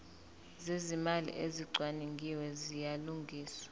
zezimali ezicwaningiwe ziyalungiswa